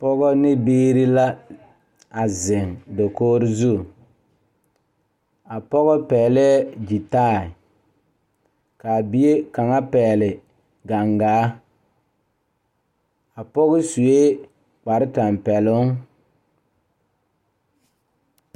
Pɔgeba ne biiri la a zeŋ dakogri zu a pɔge pɛglɛɛ gyitaayi k,a bie kaŋa pɛgle gangaa a pɔge sue kparetɛmpɛloŋ.